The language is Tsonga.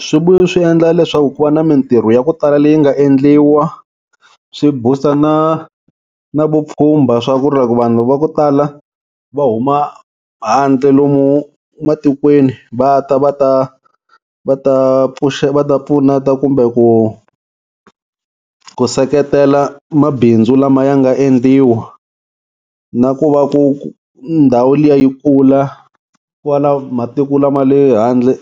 swi endla leswaku ku va na mintirho ya ku tala leyi nga endliwa, swi booster na na vupfhumba swa ku ri loko vanhu va ku tala va huma handle lomu matikweni va ta va ta va ta va ta pfuneta kumbe ku ku seketela mabindzu lama ya nga endliwa, na ku va ku ndhawu liya yi kula ku va na matiku lama le handle